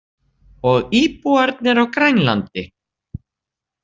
Og íbúarnir á Grænlandi.